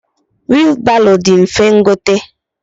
Wilu baro di mfe ngote.